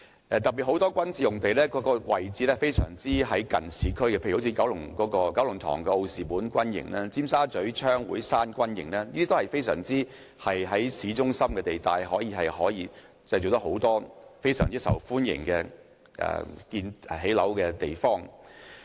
特別是很多軍事用地的位置非常接近市區，例如九龍塘的奧士本軍營、尖沙咀的槍會山軍營都是位於市中心，可以提供很多非常受歡迎的建屋用地。